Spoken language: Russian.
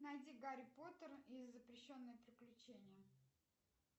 найди гарри поттер и запрещенные приключения